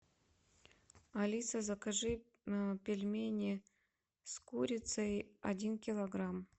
алиса закажи пельмени с курицей один килограмм